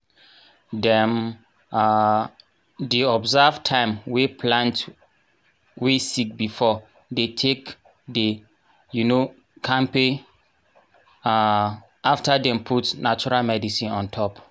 dem um di observe time wey plant wey sick before dey take dey um kampe um after dem put natural medicine on top.